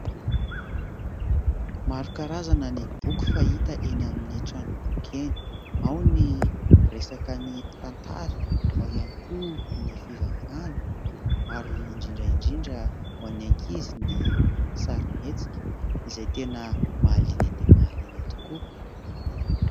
Maro karazana ny boky fahita eny amin'ny trandrom-boky eny, ao ny miresaka ny tantara, ao ihany koa ny fivavahana ary indrindra indrindra ho an'ny ankizy ny sarimihetsika izay tena mahaliana dia mahaliana tokoa.